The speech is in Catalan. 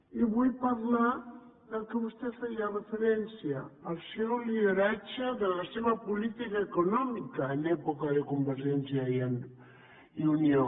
i vull parlar del que vostè feia referència del seu lideratge de la seva política econòmica en època de convergència i unió